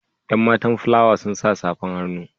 Yan matan fulawa sun sa safar hannu ja.